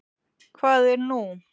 Hvað er nú?